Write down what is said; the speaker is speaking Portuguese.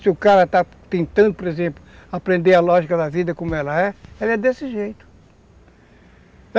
E se o cara está tentando, por exemplo, aprender a lógica da vida como ela é, ela é desse jeito.